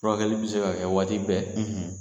Furakɛli bɛ se ka kɛ waati bɛɛ, .